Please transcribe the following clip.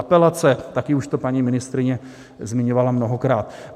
Apelace, také už to paní ministryně zmiňovala mnohokrát.